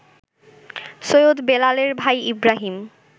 সৈয়দ বেলালের ভাই ইব্রাহিম